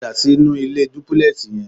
Padà sínú ilé dúbúlẹ́ẹ̀sì yẹn.